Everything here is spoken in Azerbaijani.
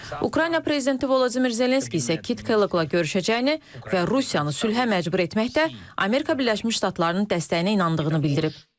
Ukrayna prezidenti Vladimir Zelenski isə Kit Kelloggla görüşəcəyini və Rusiyanı sülhə məcbur etməkdə Amerika Birləşmiş Ştatlarının dəstəyinə inandığını bildirib.